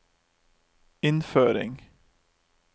innføring